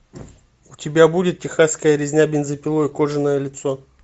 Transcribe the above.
у тебя будет техасская резня бензопилой кожаное лицо